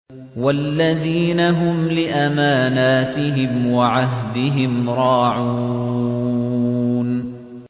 وَالَّذِينَ هُمْ لِأَمَانَاتِهِمْ وَعَهْدِهِمْ رَاعُونَ